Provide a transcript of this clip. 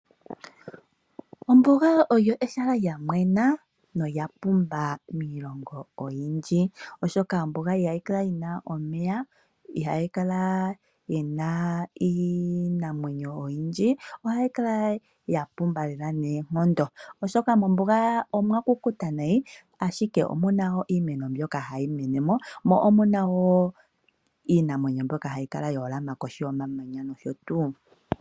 Ombuga olyo ehala lya mwena nolya pumba miilongo oyindji oshoka ihayi kala yi na omeya nenge iinamwenyo oyindji. Ohamu kala mwa kukuta nayi ashike omu na iimeno mbyoka hayi mene mo, mo omu na wo iinamwenyo mbyoka hayi kala ya holama koshi yomamanya noshotuu.